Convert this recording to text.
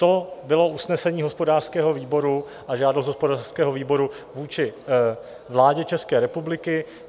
To bylo usnesení hospodářského výboru a žádost hospodářského výboru vůči vládě České republiky.